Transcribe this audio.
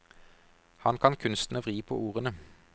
Han kan kunsten å vri på ordene.